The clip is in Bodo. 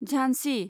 झानसि